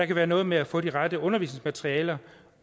kan være noget med at få det rette undervisningsmateriale